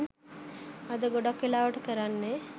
අද ගොඩක් වෙලාවට කරන්නෙ